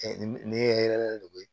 ne ye hɛrɛ de ye